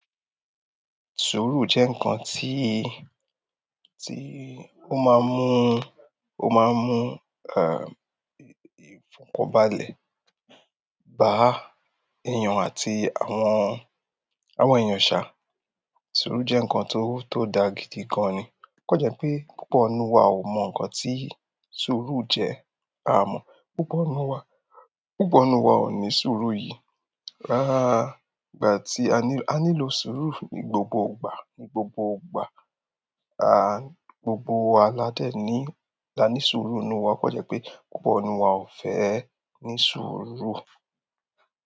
Suru jẹ́ ǹkan tí, tí ó máa ń mú, ó máa ń mú à, ìfọ̀kànbalẹ̀ bá èèyàn àti àwọn, àwọn èèyàn ṣá. Suru jẹ́ ǹkan tó, tó da gidi gan ni. O kan jẹ pé púpọ̀ ninù wa ò mọ ǹkan tí suru jẹ́. A mọ̀, púpọ̀ ọ̀nù wa, púpọ̀ ọ̀nù wa ò ní suru yìí. Ìgbà ti a nílò ìṣòro, a nílò suuru ni gbogbo ìgbà gbogbo wa ládẹ̀ ní, la ní suru náà. O kan jẹ́ pé púpọ̀ ninù wa ò fẹ́ ní suru.